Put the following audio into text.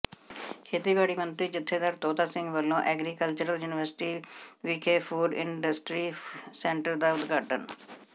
ਖੇਤੀਬਾੜੀ ਮੰਤਰੀ ਜਥੇਦਾਰ ਤੋਤਾ ਸਿੰਘ ਵਲੋਂ ਐਗਰੀਕਲਚਰਲ ਯੂਨੀਵਰਸਿਟੀ ਵਿਖੈ ਫੂਡ ਇੰਡਸਟਰੀ ਸੈਂਟਰ ਦਾ ਉਦਘਾਟਨ